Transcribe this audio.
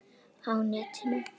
Á netinu